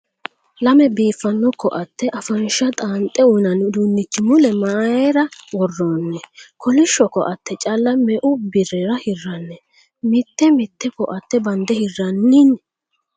Lame biiffano ko''aatte afansha xaanxe uynanni uduunnichi mule mayra worroonni ? Koolishsho Ko''aatte calla me''u birrira hirranni ? Mitte mitte Ko''aatte bande hirranni?